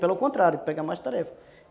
Pelo contrário, é pegar mais tarefa.